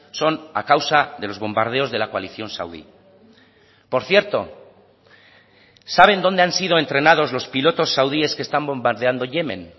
son a causa de los bombardeos de la coalición saudí por cierto saben dónde han sido entrenados los pilotos saudíes que están bombardeando yemen